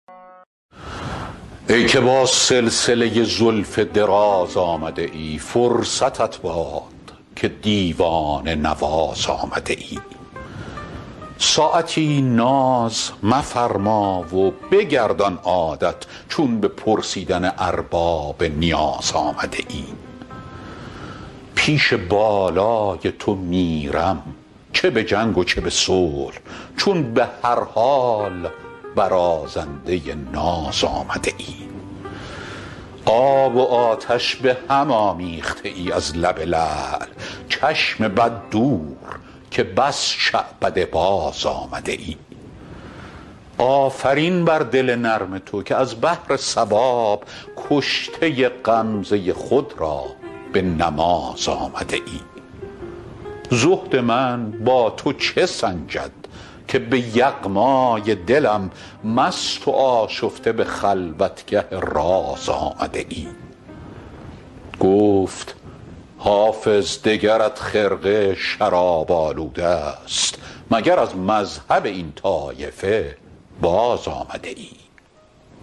ای که با سلسله زلف دراز آمده ای فرصتت باد که دیوانه نواز آمده ای ساعتی ناز مفرما و بگردان عادت چون به پرسیدن ارباب نیاز آمده ای پیش بالای تو میرم چه به صلح و چه به جنگ چون به هر حال برازنده ناز آمده ای آب و آتش به هم آمیخته ای از لب لعل چشم بد دور که بس شعبده باز آمده ای آفرین بر دل نرم تو که از بهر ثواب کشته غمزه خود را به نماز آمده ای زهد من با تو چه سنجد که به یغمای دلم مست و آشفته به خلوتگه راز آمده ای گفت حافظ دگرت خرقه شراب آلوده ست مگر از مذهب این طایفه باز آمده ای